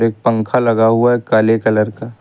एक पंख लगा हुआ है काले कलर का।